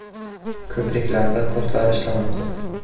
Ko‘priklarda postlar ishlamoqda.